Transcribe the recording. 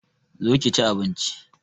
Zo ki chi abinchi